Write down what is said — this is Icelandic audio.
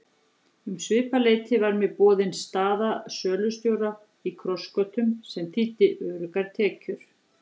Um svipað leyti var mér boðin staða sölustjóra í Krossgötum sem þýddi öruggar tekjur.